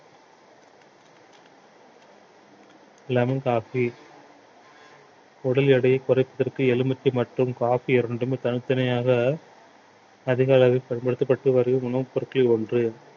lemon coffee உடல் எடையை குறைப்பதற்கு எலுமிச்சை மற்றும் coffee இரண்டுமே தனித்தனியாக அதிக அளவில் பயன்படுத்தப்பட்டு வரும் உணவுப் பொருட்களில் ஒன்று